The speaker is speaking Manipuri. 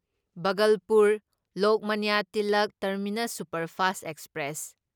Bhagalpur Lokmanya Tilak terminus superfast express